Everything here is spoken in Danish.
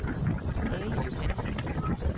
Ali Johansen